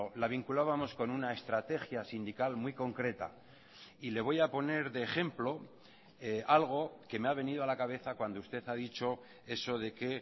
la vinculábamos con una estrategia sindical muy concreta y le voy a poner de ejemplo algo que me ha venido a la cabeza cuando usted ha dicho eso de que